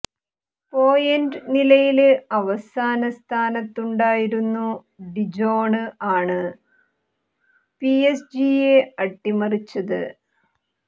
point നിലയില് അവസാന സ്ഥനത്തുണ്ടായിരുന്നു ഡിജോണ് ആണ് പിഎസ്ജിയെ അട്ടിമറിച്ചത്